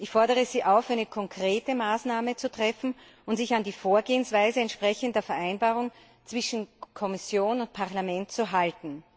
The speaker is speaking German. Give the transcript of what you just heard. Ich fordere Sie auf, eine konkrete Maßnahme zu treffen und sich an die Vorgehensweise entsprechend der Vereinbarung zwischen Kommission und Parlament zu halten.